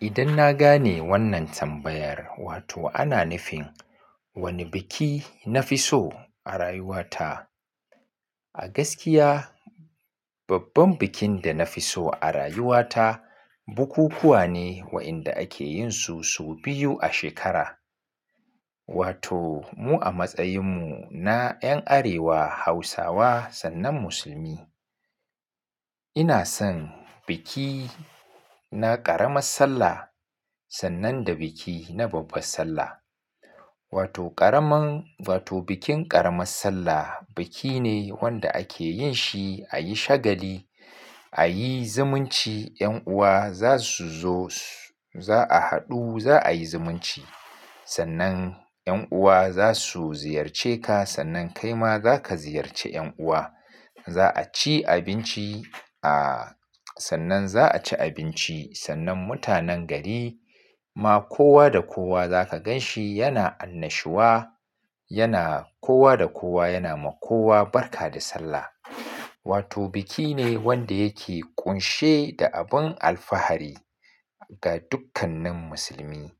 Idan na gane wannan tambayar wato ana nufin wane biki na fi so a rayuwata. A gaskiya babban bikin da na fi so a rayuwata bukukuwa ne waɗanda ake yin su sau biyu a shekara. Wato mu a matsayin mu na 'yan Arewa Hausawa sannan Musulmi. Ina son biki na ƙaramar Sallah sannan da biki na babbar Sallah. Wato ƙaraman wato bikin ƙaramar Sallah biki ne wanda ake yin shi a yi shagali a yi zumunci 'yan'uwa za su zo za a haɗu za a yi zumunci. Sannan 'yan'uwa za su ziyarce ka sannan kai ma za ka ziyarce 'yan'uwa. Za a ci abinci a sannan za a ci abinci sannan mutanen gari ma kowa da kowa za ka gan shi yana annashuwa yana kowa da kowa yana ma kowa barka da Sallah. Wato biki ne wanda yake ƙunshe da abin alfahari ga dukkanin musulmi.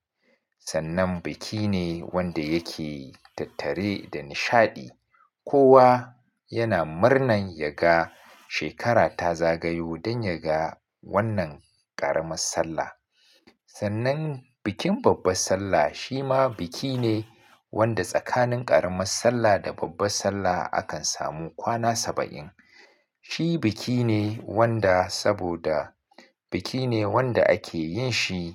Sannan biki ne wanda yake tattare da nishaɗi. Kowa yana murnan ya ga shekara ta zagayo don ya ga wannan ƙaramar Sallah. Sannan bikin babbar Sallah shi ma biki ne wanda tsakanin ƙaramar Sallah da babbar Sallah akan samu kwana saba'in. Shi biki ne wanda saboda biki ne wanda ake yin shi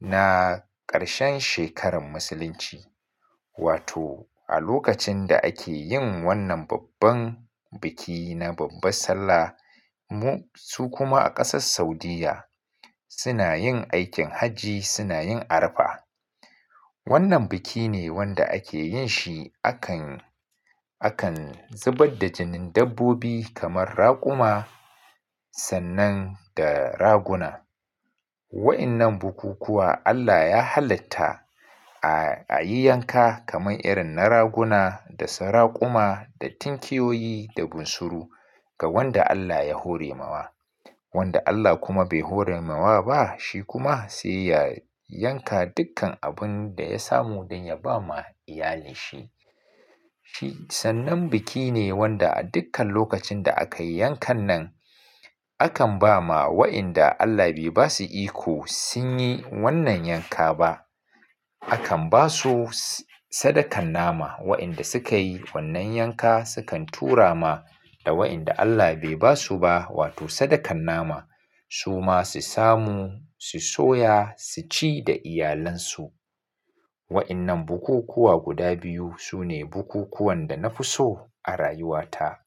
na ƙarshen shekarar musulunci. Wato a lokacin da ake yin wannan babban biki na babbar Sallah mu su kuma a ƙasar Saudiyya suna yin aikin Hajji suna yin Arafah. Wannan biki ne wanda ake yin shi akan akan zubar da jinin dabbobi kamar raƙuma sannan da raguna. Waɗannan bukukuwa Allah ya halatta a a yi yanka kamar irin na raguna da su raƙuma da tinkiyoyi da bunsuru ga wanda Allah ya hore ma wa. Wanda Allah kuma bai hore ma wa ba shi kuma sai ya yanka dukkan abun da ya samu don ya ba ma iyalinsa shi. Shi sannan biki ne wanda a dukkan lokacin da aka yi yankan nan akan ba ma waɗanda Allah bai ba su iko sun yi wannan yanka ba akan ba su sadakan nama waɗanda suka yi wannan yanka sukan tura ma da waɗanda Allah bai ba su ba wato sadakan nama su ma su samu su soya su ci da iyalansu. Waɗannan bukukuwa guda biyu su ne bukukuwan da na fi so a rayuwata.